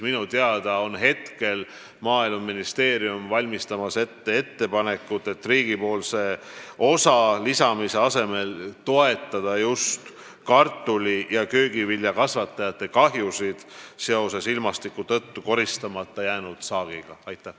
Minu teada valmistub Maaeluministeerium praegu tegema ettepanekut, et riigi osa lisamise asemel toetataks kartuli- ja köögiviljakasvatajaid, kes on kannatanud kahju, kuna halbade ilmastikuolude tõttu jäi neil saak koristamata.